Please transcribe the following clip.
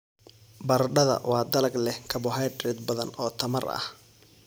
Baradhada waa dalag leh karbohaydrayt badan oo tamar ah.